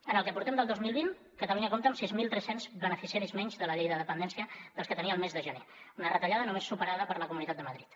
en el que portem del dos mil vint catalunya compta amb sis mil tres cents beneficiaris menys de la llei de dependència dels que tenia el mes de gener una retallada només superada per la comunitat de madrid